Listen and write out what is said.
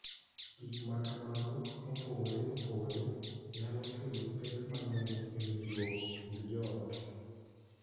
Gik ma kamago mopogore opogore nyalo kelo pek mang�eny e winjruok e kind joot.